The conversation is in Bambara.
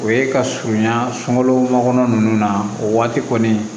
O ye ka surunya sunkalo kɔnɔna ninnu na o waati kɔni